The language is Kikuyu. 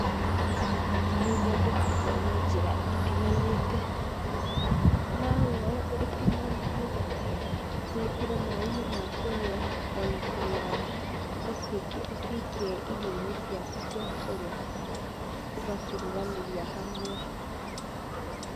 Nĩithondekagwo na njĩra itiganĩte. No woye ũtinangie wĩkĩre maĩnĩ ma kũnywa ona kana ũcikie irioinĩ ciaku cia kũrĩa, ũga ciruganĩria hamwe.